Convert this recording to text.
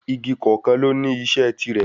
Igi kọ̀ọ̀kan ló ní iṣẹ́ tiirẹ̀